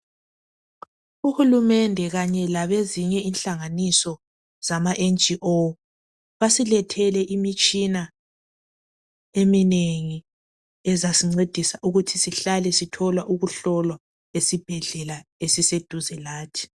Uhulumende kanye labezinye inhlanganiso zamaNGO basilethele imitshina eminengi ezasincedisa ukuthi sihlale sithola sihlolwa esibhedlela esiseduze lathi.